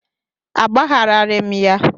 Agbagharaghị m ya.